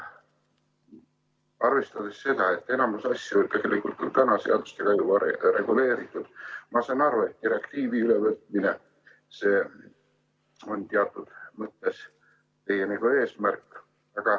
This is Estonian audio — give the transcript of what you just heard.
Arvestades seda, et enamus asju on vanade seadustega reguleeritud, siis saan ma aru, et direktiivi ülevõtmine on teatud mõttes teie eesmärk.